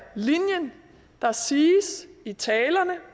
linjen der siges i talerne